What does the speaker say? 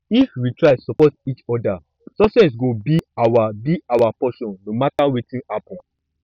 if we try support each other success go be our be our portion no matter wetin happen